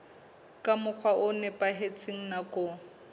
ka mokgwa o nepahetseng nakong